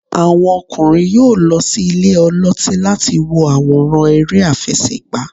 àwọn okunrin yọọ lo sí ìlè olotí latí wo aworán ère afẹsẹgba.